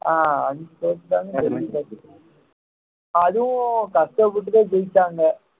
ஆஹ் அஞ்சு தோத்துட்டாங்க அதுவும் கஷ்டப்பட்டுதான் ஜெயிச்சாங்க